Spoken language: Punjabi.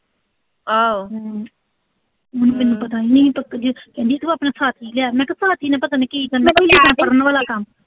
ਨਈਂ ਮੈਨੂੰ ਪਤਾ ਨੀਂ, ਮੈਨੂੰ ਟੱਕਰ ਗੀ, ਕਹਿੰਦੀ ਤੂੰ ਆਪਣੇ ਮੈਂ ਕਿਆ ਨੇ ਪਤਾ ਨੀਂ ਕੀ ਕਰਨਾ